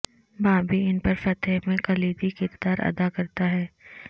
بابی ان پر فتح میں کلیدی کردار ادا کرتا ہے